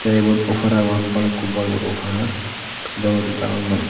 tay ibot woofar agon balukkobbor bor woofar sedogo dangor noi.